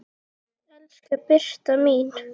Elsku Birta mín.